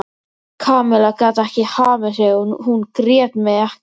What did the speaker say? Kamilla gat ekki hamið sig og hún grét með ekka.